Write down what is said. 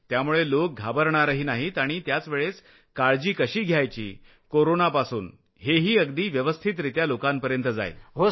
त्यामुळे लोक घाबरणारही नाहीत आणि त्याचवेळेस काळजी कशी घ्यायची कोरोनापासून हेही अगदी व्यवस्थितरित्या लोकांपर्यत जाईल